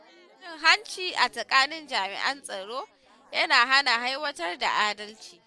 Cin hanci a tsakanin jami’an tsaro yana hana aiwatar da adalci.